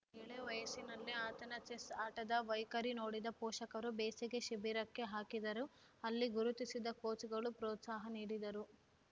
ಎಳೆವಯಸ್ಸಿನಲ್ಲೇ ಆತನ ಚೆಸ್‌ ಆಟದ ವೈಖರಿ ನೋಡಿದ ಪೋಷಕರು ಬೇಸಿಗೆ ಶಿಬಿರಕ್ಕೆ ಹಾಕಿದರು ಅಲ್ಲಿ ಗುರುತಿಸಿದ ಕೋಚ್‌ಗಳು ಪ್ರೋತ್ಸಾಹ ನೀಡಿದರು